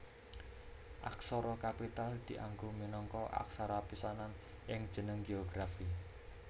Aksara kapital dianggo minangka aksara pisanan ing jeneng géografi